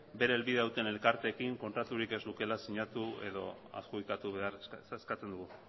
bere helbidea duten elkarteekin kontraturik ez lukeela sinatu edo adjudikatu behar eskatzen dugu